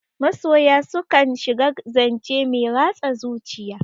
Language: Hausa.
Masoya su kan shiga zance mai ratsa zuciya.